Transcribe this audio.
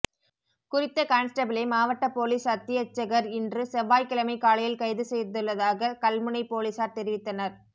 குறித்த கான்ஸ்டபிளை மாவட்ட பொலிஸ் அத்தியட்சகர் இன்று செவ்வாய்கிழமை காலையில் கைது செய்துள்ளதாக கல்முனை பொலிஸார் தெரிவித்தனர்